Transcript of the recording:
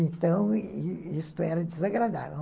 Então, isso era desagradável.